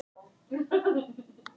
um hádegið í gær.